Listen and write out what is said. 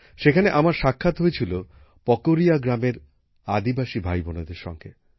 সেখানে আমার সাক্ষাৎ হয়েছিল পকরিয়া গ্রামের আদিবাসী ভাইবোনেদের সঙ্গে